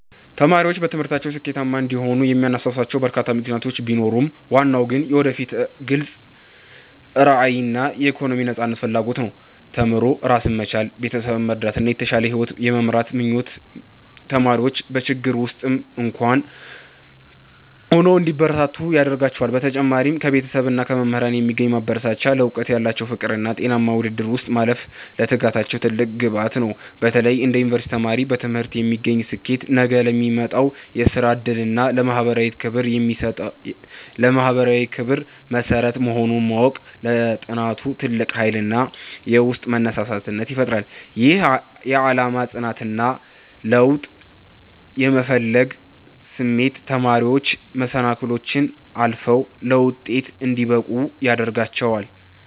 ተማሪዎች በትምህርታቸው ስኬታማ እንዲሆኑ የሚያነሳሷቸው በርካታ ምክንያቶች ቢኖሩም፣ ዋናው ግን የወደፊት ግልጽ ራዕይና የኢኮኖሚ ነፃነት ፍላጎት ነው። ተምሮ ራስን መቻል፣ ቤተሰብን መርዳትና የተሻለ ሕይወት የመምራት ምኞት ተማሪዎች በችግር ውስጥም እንኳ ሆነው እንዲበረቱ ያደርጋቸዋል። በተጨማሪም ከቤተሰብና ከመምህራን የሚገኝ ማበረታቻ፣ ለዕውቀት ያላቸው ፍቅርና በጤናማ ውድድር ውስጥ ማለፍ ለትጋታቸው ትልቅ ግብዓት ነው። በተለይ እንደ ዩኒቨርሲቲ ተማሪ፣ በትምህርት የሚገኝ ስኬት ነገ ለሚመጣው የሥራ ዕድልና ለማኅበራዊ ክብር መሠረት መሆኑን ማወቅ ለጥናቱ ትልቅ ኃይልና የውስጥ መነሳሳትን ይፈጥራል። ይህ የዓላማ ጽናትና ለውጥ የመፈለግ ስሜት ተማሪዎች መሰናክሎችን አልፈው ለውጤት እንዲበቁ ያደርጋቸዋል።